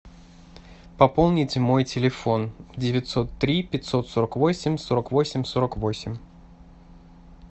пополнить мой телефон девятьсот три пятьсот сорок восемь сорок восемь сорок восемь